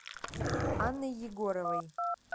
анной егоровой